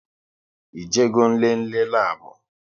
Ị je go nlele labu?